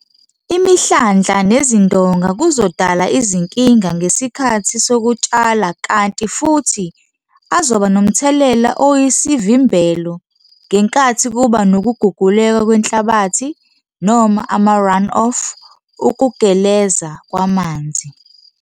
Imihlandla nezindonga kuzodala izinkinga ngesikhathi sokutshala kanti futhi azoba nomthelela oyisivimbelo ngenkathi kuba nokuguguleka kwenhlabathi noma ama-run-off ukugeleza kwamanzi.